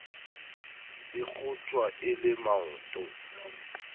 e kgotjwa e le maoto